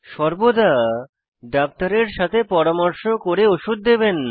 সর্বদা ডাক্তারের সাথে পরামর্শ করে ওষুধ দেবেন